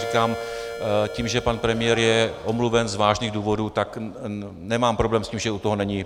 Říkám, tím, že pan premiér je omluven z vážných důvodů, tak nemám problém s tím, že u toho není.